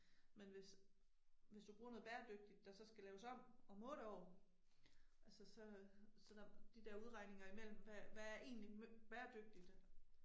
Men hvis, hvis du bruger noget bæredygtigt der så skal laves om om 8 år, altså så så der, de der udregninger imellem, hvad hvad er egentlig bæredygtigt